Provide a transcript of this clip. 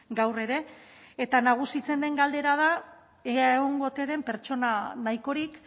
gaur ere eta nagusitzen den galdera da ea egongo ote den pertsona nahikorik